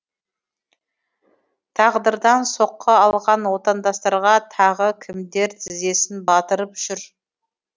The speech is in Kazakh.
тағдырдан соққы алған отандастарға тағы кімдер тізесін батырып жүр